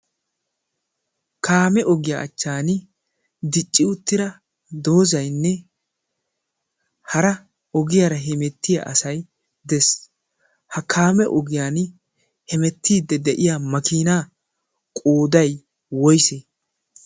kaame ogiyaa achchan dicci uttira doozainne hara ogiyaara hemettiya asai dees ha kaame ogiyan hemettiidde de'iya makiinaa qoodai wois?